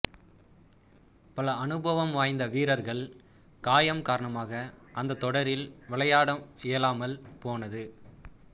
பல அனுபவம் வாய்ந்த வீரர்கள் காயம் காரணமாக அந்தத் தொடரில் விளையாட இயலாமல் போனது